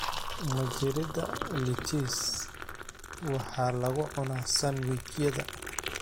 Majirida lettuce waxaa lagu cunaa sandwich-yada.